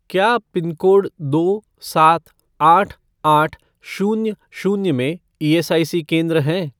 क्या पिनकोड दो सात आठ आठ शून्य शून्य में ईएसआईसी केंद्र हैं?